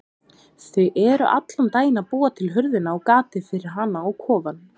Þau eru allan daginn að búa til hurðina og gatið fyrir hana á kofann.